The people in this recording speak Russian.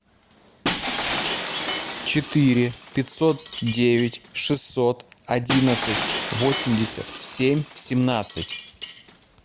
четыре пятьсот девять шестьсот одиннадцать восемьдесят семь семнадцать